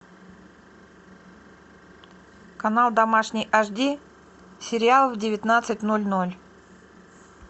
канал домашний аш ди сериал в девятнадцать ноль ноль